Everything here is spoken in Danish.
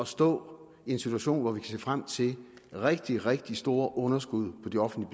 stå i en situation hvor vi kan se frem til rigtig rigtig store underskud på de offentlige